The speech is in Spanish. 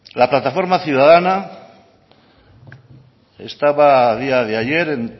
la plataforma ciudadana estaba a día de ayer en